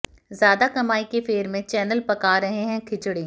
ज्यादा कमाई के फेर में चैनल पका रहे हैं खिचड़ी